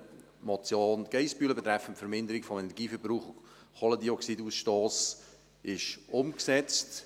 Die Motion Geissbühler betreffend die Verminderung von Energieverbrauch und Kohlendioxidausstoss ist umgesetzt.